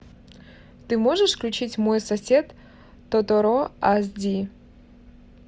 ты можешь включить мой сосед тоторо аш ди